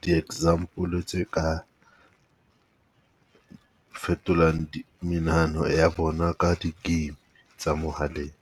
di-example tse ka fetolang menahano ya bona ka di-game tsa mohaleng.